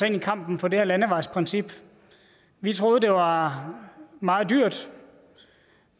i kampen for det her landevejsprincip vi troede det var meget dyrt